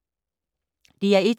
DR1